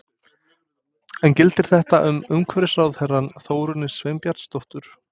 En gildir þetta um umhverfisráðherrann Þórunni Sveinbjarnardóttur?